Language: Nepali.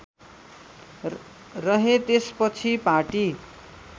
रहे त्यसपछि पार्टी